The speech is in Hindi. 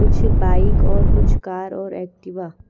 कुछ बाइक और कुछ कार और एक्टिवा --